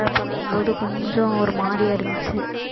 பழகும்போது கொஞ்சம் ஒரு மாதிரியா இருந்துச்சு